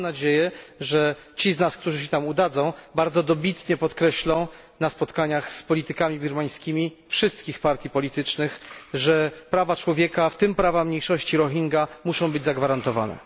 Mam nadzieję, że ci z nas, którzy się tam udadzą, bardzo dobitnie podkreślą na spotkaniach z politykami birmańskimi wszystkich partii politycznych, że prawa człowieka, w tym prawa mniejszości Rohingya muszą być zagwarantowane.